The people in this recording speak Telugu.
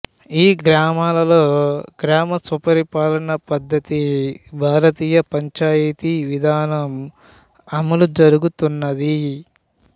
ఈ గ్రామాలలో గ్రామస్వపరిపాలన పద్ధతి భారతీయ పంచాయితీ విధానం అమలు జరుగుతున్నది